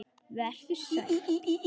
Vertu sæll.